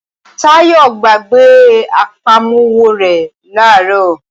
Táyọ̀ gbàgbé àpamọ́wọ́ rẹ̀ làárọ̀